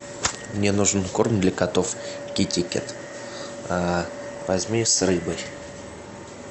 мне нужен корм для котов китикет возьми с рыбой